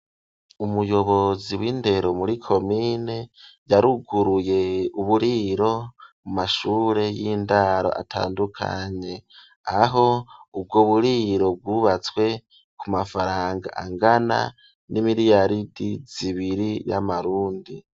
Umuyobozi w'indero muri komine yaruguruye uburiro mu mashure y'indaro atandukanye aho ubwo buriro bwubatswe ku mafaranga angana n'imiliyaridi zibiri y'amarundi.